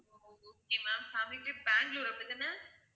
ஓ okay ma'am family trip Bangalore அப்படி தான?